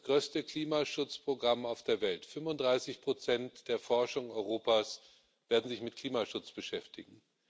Dies ist das größte Klimaschutzprogramm auf der Welt 35 der Forschung Europas werden sich mit Klimaschutz beschäftigen.